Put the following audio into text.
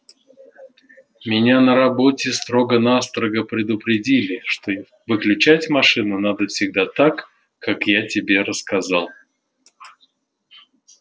меня на работе строго-настрого предупредили что выключать машину надо всегда так как я тебе рассказал